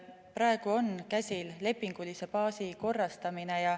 Praegu on käsil lepingulise baasi korrastamine.